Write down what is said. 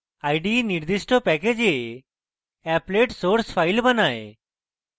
ide নির্দিষ্ট package applet source file বানায়